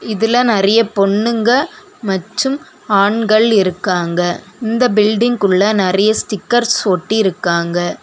இதுல நெறைய பொண்ணுங்க மற்றும் ஆண்கள் இருக்காங்க இந்த பில்டிங்குள்ள நெறைய ஸ்டிக்கர்ஸ் ஒட்டி இருக்காங்க.